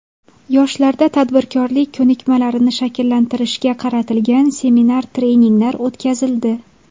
Yoshlarda tadbirkorlik ko‘nikmalarini shakllantirishga qaratilgan seminar-treninglar o‘tkazildi.